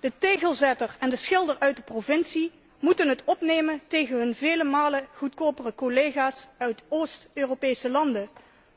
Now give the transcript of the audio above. De tegelzetter en de schilder uit de provincie moeten het opnemen tegen hun vele malen goedkopere collega's uit Oost Europese landen.